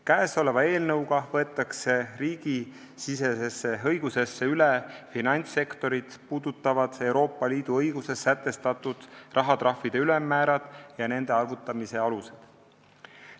Käesoleva eelnõuga võetakse riigisisesesse õigusesse üle finantssektorit puudutavad Euroopa Liidu õiguses sätestatud rahatrahvi ülemmäärad ja nende arvutamise alused.